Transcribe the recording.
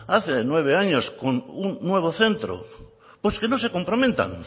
hace nueve años con un nuevo centro pues que no se comprometan